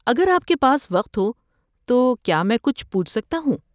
اگر آپ کے پاس وقت ہو تو کیا میں کچھ پوچھ سکتا ہوں؟